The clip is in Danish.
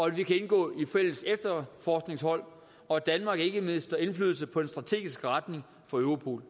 at vi kan indgå i fælles efterforskningshold og at danmark ikke mister indflydelse på den strategiske retning for europol